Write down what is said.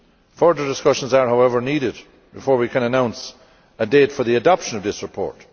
Further discussions are, however, needed before we can announce a date for the adoption of this report.